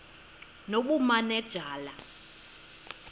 nobumanejala